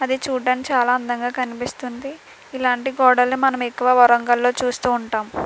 అది చూడటానికి చాలా అందంగా కనిపిస్తుంది ఇలాంటి గోడల్ని మనం ఎక్కువ వరంగల్లో చూస్తూ ఉంటాం.